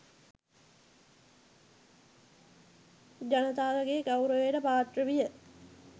ජනතාවගේ ගෞරවයට පාත්‍ර විය.